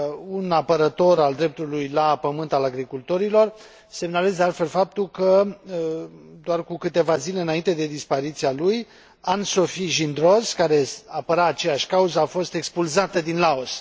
un apărător al dreptului la pământ al agricultorilor. Semnalez, de altfel, faptul că, doar cu câteva zile înainte de dispariția lui, Anne Sophie Gindroz, care apăra aceeași cauză, a fost expulzată din Laos.